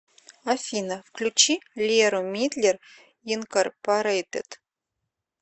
афина включи леру мидлер инкорпорейтед